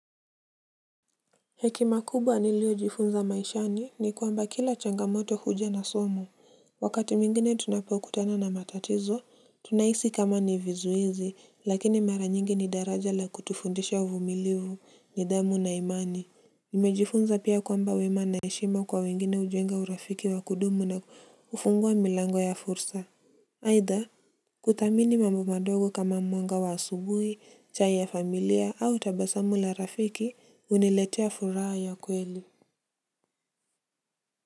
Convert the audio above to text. Hekima kubwa niliyojifunza maishani, ni kwamba kila changamoto huja na somo. Wakati mwingine tunapokutana na matatizo, tunahisi kama ni vizuizi, lakini mara nyingi ni daraja la kutufundisha uvumilivu, nidhamu na imani. Nimejifunza pia kwamba wema na heshima kwa wengine hujenga urafiki wa kudumu na hufungua milango ya fursa. Aidha, kuthamini mambo madogo kama mwanga wa asubuhi, chai ya familia au tabasamu la rafiki huniletea furaha ya kweli.